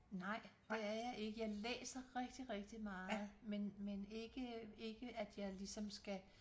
Nej det er jeg ikke jeg læser rigtig rigtig meget men men ikke ikke at jeg ligesom skal